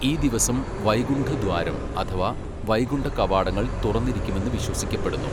ഈ ദിവസം വൈകുണ്ഠദ്വാരം അഥവാ, 'വൈകുണ്ഠ കവാടങ്ങൾ' തുറന്നിരിക്കുമെന്ന് വിശ്വസിക്കപ്പെടുന്നു.